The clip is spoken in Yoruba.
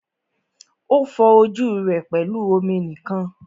O fọ ojú rẹ pẹlú omi nìkan.